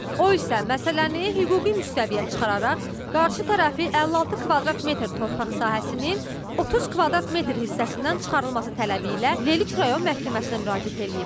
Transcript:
O isə məsələni hüquqi müstəviyə çıxararaq qarşı tərəfi 56 kvadrat metr torpaq sahəsinin 30 kvadrat metr hissəsindən çıxarılması tələbi ilə Lerik rayon məhkəməsinə müraciət edib.